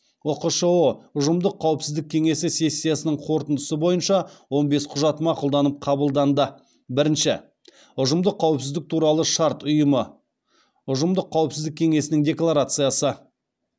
ұқшұ ұжымдық қауіпсіздік кеңесі сессиясының қорытындысы бойынша он бес құжат мақұлданып қабылданды бірінші ұжымдық қауіпсіздік туралы шарт ұйымы ұжымдық қауіпсіздік кеңесінің декларациясы